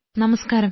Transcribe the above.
നമസ്കാരം